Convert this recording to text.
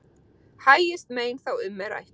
Hægist mein þá um er rætt.